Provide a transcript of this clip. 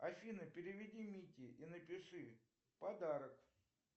афина переведи мите и напиши подарок